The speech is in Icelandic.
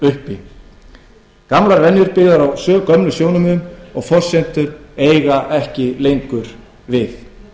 uppi gamlar venjur byggðar á gömlum sjónarmiðum og forsendum eiga ekki lengur við